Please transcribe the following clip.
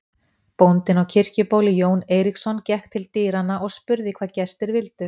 Bóndinn á Kirkjubóli, Jón Eiríksson, gekk til dyranna og spurði hvað gestir vildu.